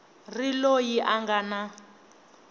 ri loyi a nga na